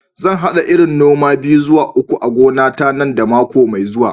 Zan hada irin noma biyu zuwa uku a gonata nan da mako mai zuwa.